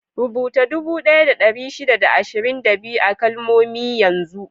Rubuta dubu ɗaya da ɗari shida da ashirin da biyu a kalmomi yanzu!